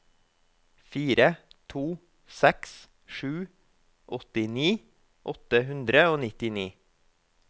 fire to seks sju åttini åtte hundre og nittini